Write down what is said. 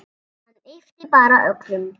Hann yppti bara öxlum.